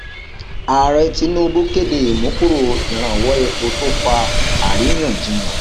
ààrẹ tinubu kéde ìmúkúrò ìrànwọ epo tó fa àríyànjiyàn